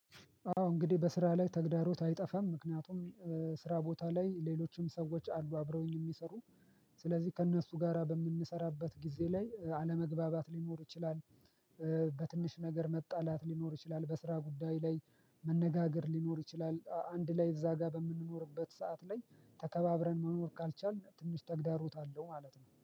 ያው እንግዲ በስራ ላይ ተግዳሮት አይጠፍም ምክንያቱም ስራ ቦታ ላይ ሌሎችም ሰዎች አሉ አብረውኝ ሚሰሩ። ስለዚህ ከእነሱ ጋራ በምንሰራበት ጊዜ ላይ አለመግባባት ሊኖር ይችላል። በትንሽ ነገር መጣላት ሊኖር ይችላል በስራ ጉዳይ ላይ። መነጋገር ሊኖር ይችላል አንድ ላይ እዛ ጋ በምንኖርበት ሰዓት ላይ ተከባብረን መኖር ካልቻልን ትንሽ ተግዳሮት አለው ማለት ነው